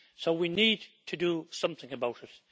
So we need to do something about it.